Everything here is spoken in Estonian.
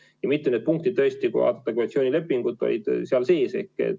Ja mitu punkti, kui vaadata koalitsioonilepingut, olid seal sees.